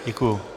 Děkuji.